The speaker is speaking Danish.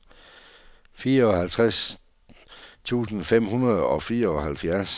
fireoghalvtreds tusind fem hundrede og fireoghalvfjerds